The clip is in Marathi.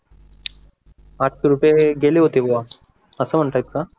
पाच रुपये गेले होते बवा असं म्हणता ये का